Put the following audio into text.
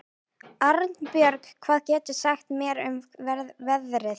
Arnbjörg, hvað geturðu sagt mér um veðrið?